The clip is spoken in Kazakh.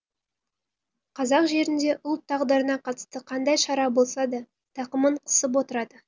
қазақ жерінде ұлт тағдырына қатысты қандай шара болса да тақымын қысып отырады